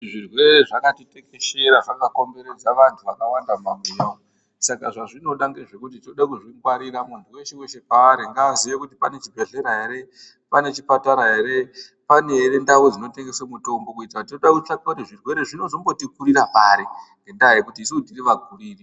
Zvirwere zvakatekeshera, zvakakomberedza vantu vakawanda mumabuya umu. Saka zvazvinoda ngezvekuti tode kuzvingwarira, muntu weshe paari ngaaziye kuti pane chibhedhlera ere, pane chipatara ere, pane ere ndau dzinotengese mitombo kuitira tinode kutsvaka kuti zvinozombotikurira pari, ngendaa yekuti isusu tiri vakuriri.